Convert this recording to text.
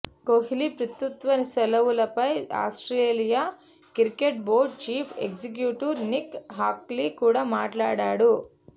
కోహ్లీ పితృత్వ సెలవులపై Australia cricket board chief executive Nick Hockley కూడా మాట్లాడాడు